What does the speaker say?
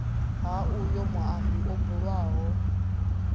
ha uyo muambi o bulwaho